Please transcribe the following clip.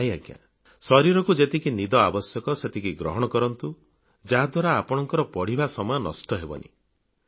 ନାହିଁ ଆଜ୍ଞା ଶରୀରକୁ ଯେତିକି ନିଦ ଆବଶ୍ୟକ ସେତିକି ଗ୍ରହଣ କରନ୍ତୁ ଯାହା ଦ୍ବାରା ଆପଣଙ୍କ ପଢିବା ସମୟ ନଷ୍ଟହେବ ନାହିଁ